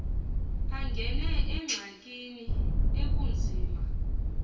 angene engxakini ekunzima